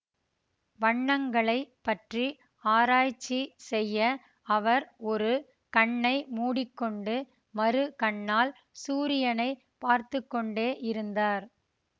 வண்ணங்களை பற்றி ஆராய்ச்சி செய்ய அவர் ஒரு கண்ணை மூடி கொண்டு மறு கண்ணால் சூரியனை பார்த்து கொண்டே இருந்தார்